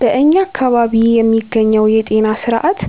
በእኛ አካባቢ የሚገኘው የጤና ስርዓት